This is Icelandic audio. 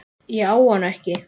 Ég á hana ekki.